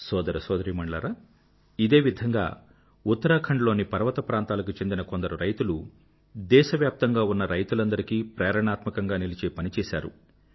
సోదర సోదరీమణులారా ఇదే విధంగా ఉత్తరాఖండ్ లోని పర్వత ప్రాంతాలకు చెందిన కొందరు రైతులు దేశవ్యాప్తంగా ఉన్న రైతులందరికీ ప్రేరణాత్మకంగా నిలిచే పని చేశారు